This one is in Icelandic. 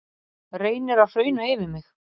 Reynir að hrauna yfir mig